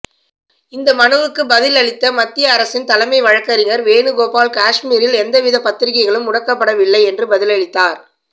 இந்த மனுவுக்கு பதில் அளித்த மத்திய அரசின் தலைமை வழக்கறிஞர் வேணுகோபால் காஷ்மீரில் எந்தவித பத்திரிகைகளும் முடக்கப்படவில்லை என்று பதிலளித்தார்